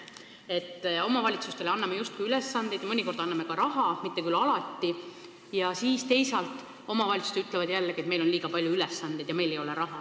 Me anname justkui omavalitsustele ülesandeid ja mõnikord ka raha – mitte küll alati –, teisalt ütlevad omavalitsused, et neil on liiga palju ülesandeid ja neil ei ole raha.